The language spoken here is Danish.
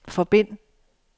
forbind